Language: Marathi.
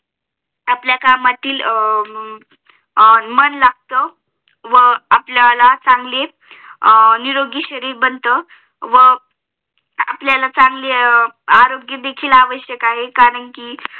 आपल्या कामतही अह मन लागत हम्म आपल्याला चांगले निरोगी शरीर बनत व हम्म आपल्याला चांगले आरोग्य देखील आवश्यक आहे कारण कि